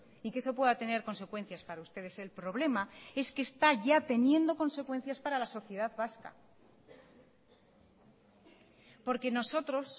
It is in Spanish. y que eso pueda tener consecuencias para ustedes el problema es que está ya teniendo consecuencias para la sociedad vasca porque nosotros